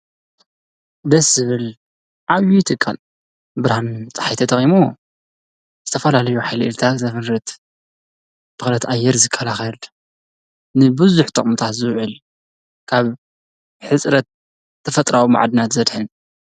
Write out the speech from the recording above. ደስ ዝብል ዓብዩ ትካል ብርሃን ፀሓይ ተጠቂሙ ዝተፈላለዩ ሓይሊታት ዘምርት ፣ ብኽለት ኣየር ዝከላኸል፣ ንብዙሕ ጠቅምታት ዝውዕል ካብ ሕፅረት ተፈጥራዊ መዓድናት ዘድሕን ።